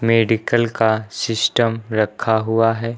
Medical का system रखा हुआ है।